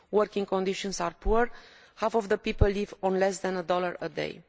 Working conditions are poor half of the people live on less than a dollar a day.